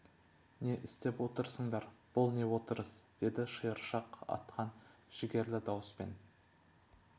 не істеп отырсыңдар бұл не отырыс деді шиыршық атқан жігерлі дауыспен